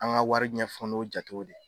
An ka wari ɲɛfɔ n'o jatew de ye.